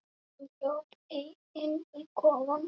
Hún hljóp inn í kofann.